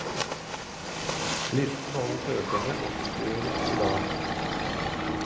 Listen over søkerne offentliggjøres i dag.